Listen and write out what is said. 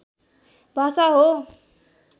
भाषा हो